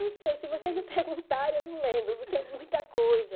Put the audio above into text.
Não sei, se vocês não perguntarem, eu não lembro, porque é muita coisa.